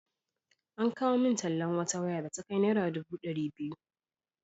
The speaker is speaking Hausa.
An kawo min tallan wata waya da ta kai naira dubu ɗari biyu.